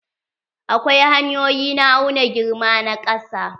Akwai hanyoyi na auna girma na ƙasa.